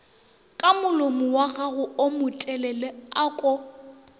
ka molomowagago wo motelele ako